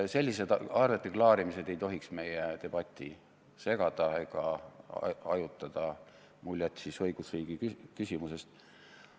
Sellised arveklaarimised ei tohiks meie debatti segada ega hajutada muljet õigusriigi küsimusest.